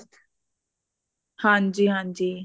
ਹਾਂਜੀ ਹਾਂਜੀ